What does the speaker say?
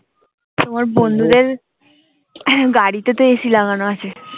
তোমার বন্ধুদের গাড়িতে তো ac লাগানো আছে